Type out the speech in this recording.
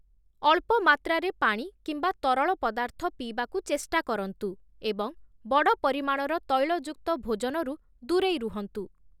ଅଳ୍ପ ମାତ୍ରାରେ ପାଣି କିମ୍ବା ତରଳ ପଦାର୍ଥ ପିଇବାକୁ ଚେଷ୍ଟା କରନ୍ତୁ ଏବଂ ବଡ଼ ପରିମାଣର ତୈଳଯୁକ୍ତ ଭୋଜନରୁ ଦୂରେଇ ରୁହନ୍ତୁ ।